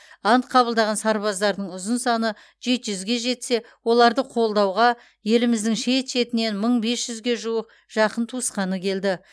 ант қабылдаған сарбаздардың ұзын саны жеті жүзге жетсе оларды қолдауға еліміздің шет шетінен мың бес жүзге жуық жақын туысқаны келді